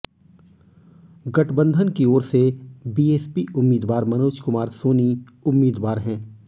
गठबंधन की ओर से बीएसपी उम्मीदवार मनोज कुमार सोनी उम्मीदवार हैं